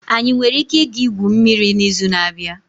Anyị nwere ike ịga igwu mmiri n'izu na-abịa?